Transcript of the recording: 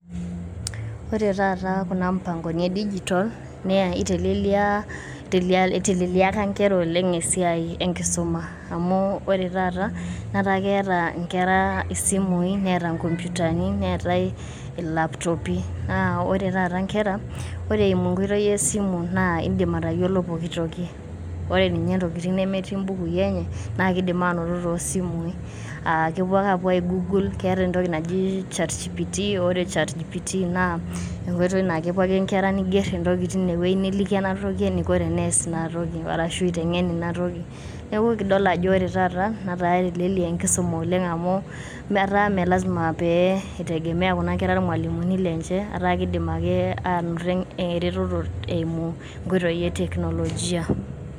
Ore taata kuna mpangoni e digital naa itelelia eiteleleliaka nkera oleng esiai enkisuma amu ore taata etaa keeta nkera isimui neeta nkomputani neetai ilapitopi. Naa ore taata nkera, ore eimu enkoitoi esimu naa idim atayiolo poki toki. Ore ninye ntokitin nemetii mbukui enye naa kidim aanoto too simui aa kepuo ake ai google keeta entoki naji chat GPT. Aaah ore chat GPT naa enkoitoi naa kepuo ake inkera neigerr entoki teina wuejii neliki ena toki eniko eneas ina toki arashu iteng`en ina toki. Niaku ekidol ajo ore taata netaa etelelia enkisuma oleng amu etaaa mme lazima pee itegemea kuna kera ilmwalimuni lenche etaa keidim ake aanoto erototo eimu nkoitoi e teknolojia.